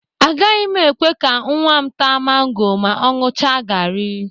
Agaghị m ekwe ka nnwa m táá mango ma ọ ṅụcha gari.